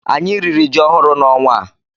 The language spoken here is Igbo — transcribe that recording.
Anyị riri ji ọhụrụ na ọnwa a